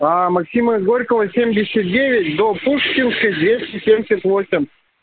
максима горького семьдесят девять до пушкинская двести семьдесят восемь